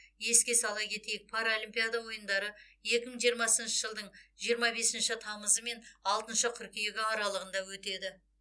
еске сала кетейік паралимпиада ойындары екі мың жиырмасыншы жылдың жиырма бесінші тамызы мен алтыншы қыркүйегі аралығында өтеді